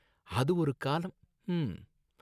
அது ஒரு காலம், ஹம்ம்ம்